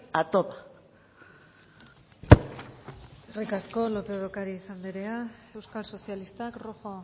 a toda eskerrik asko lópez de ocariz anderea euskal sozialistak rojo